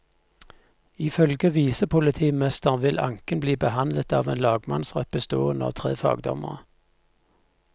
Ifølge visepolitimesteren vil anken bli behandlet av en lagmannsrett bestående av tre fagdommere.